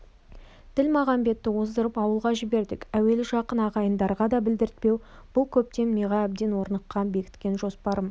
ділмағамбетті оздырып ауылға жібердік әуелі жақын ағайындарға да білдіртпеу бұл көптен миға әбден орныққан бекіткен жоспарым